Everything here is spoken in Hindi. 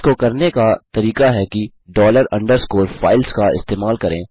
इसको करने का तरीका है कि डॉलर अंडरस्कोर फाइल्स का इस्तेमाल करें